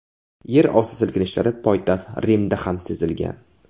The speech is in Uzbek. Yer osti silkinishlari poytaxt Rimda ham sezilgan.